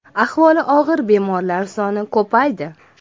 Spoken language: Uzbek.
Ahvoli og‘ir bemorlar soni ko‘paydi.